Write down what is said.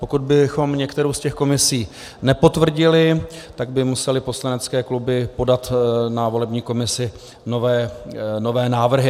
Pokud bychom některou z těch komisí nepotvrdili, tak by musely poslanecké kluby podat na volební komisi nové návrhy.